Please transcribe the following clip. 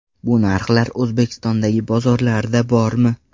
Bu narxlar O‘zbekistondagi bozorlarda bormi?.